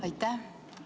Aitäh!